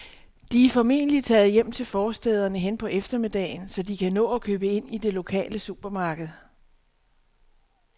De er formentlig taget hjem til forstæderne hen på eftermiddagen, så de kan nå at købe ind i det lokale supermarked.